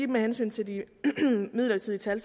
med hensyn til de midlertidige tal